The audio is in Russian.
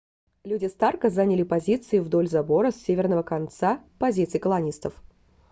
люди старка заняли позиции вдоль забора с северного конца позиций колонистов